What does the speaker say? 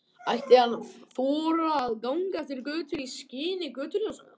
Ætti hann að þora að ganga eftir götunum í skini götuljósanna?